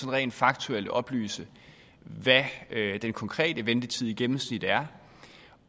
rent faktuelt oplyse hvad den konkrete ventetid i gennemsnit er